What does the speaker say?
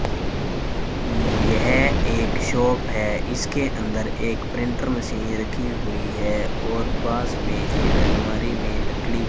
यह एक शॉप है इसके अंदर एक प्रिंटर मशीन रखी हुई है और पास में एक अलमारी में लकड़ी --